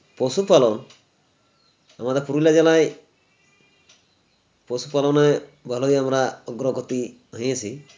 পশুপালন আমাদের পুরুলিয়া জেলায় পশুপালনে ভালোই আমরা প্রগতি হয়েছি